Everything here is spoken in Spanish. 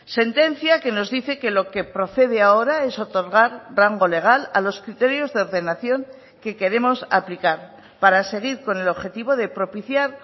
sentencia que nos dice que lo que procede ahora es otorgar rango legal a los criterios de ordenación que queremos aplicar para seguir con el objetivo de propiciar